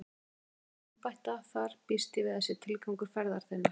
Að búa þig undir að embætta þar býst ég við sé tilgangur ferðar þinnar.